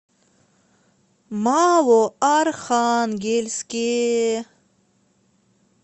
малоархангельске